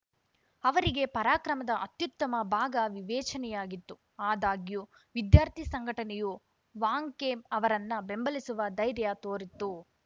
ಅವರಿಗೆ ಪರಾಕ್ರಮದ ಅತ್ಯುತ್ತಮ ಭಾಗ ವಿವೇಚನೆಯಾಗಿತ್ತು ಆದಾಗ್ಯೂ ವಿದ್ಯಾರ್ಥಿ ಸಂಘಟನೆಯು ವಾಂಗ್‌ಖೇಮ್‌ ಅವರನ್ನ ಬೆಂಬಲಿಸುವ ಧೈರ್ಯ ತೋರಿತ್ತು